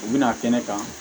U bɛna kɛnɛ kan